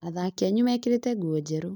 Athaki anyu mekĩrĩte nguo njerũ